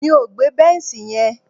Mi ò gbé bẹ́nṣì yẹn.